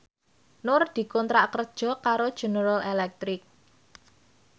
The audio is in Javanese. Nur dikontrak kerja karo General Electric